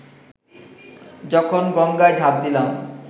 যখন গঙ্গায় ঝাঁপ দিলাম